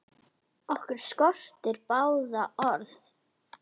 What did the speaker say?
Okkur skortir báða orð.